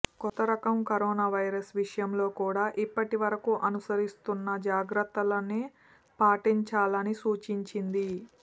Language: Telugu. కొత్త రకం కరోనా వైరస్ విషయంలో కూడా ఇప్పటి వరకు అనుసరిస్తున్న జాగ్రత్తలనే పాటించాలని సూచించింది